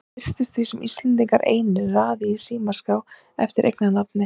Það virðist því sem Íslendingar einir raði í símaskrá eftir eiginnafni.